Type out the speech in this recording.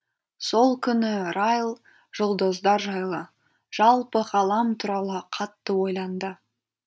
сол күні райл жұлдыздар жайлы жалпы ғалам туралы қатты ойланды